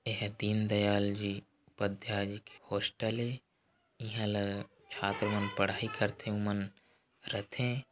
एह दीनदयालजी उपाध्याय जी के हॉस्टल ए इहा ल छात्र मन पढ़ाई करथे ओमन रथे--